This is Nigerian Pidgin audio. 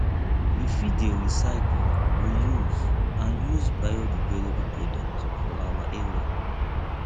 we fit dey recycle reuse and use biodegradable products for our area